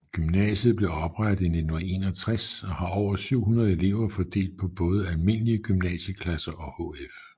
Gymnasiet blev oprettet i 1961 og har over 700 elever fordelt på både almindelige gymnasieklasser og HF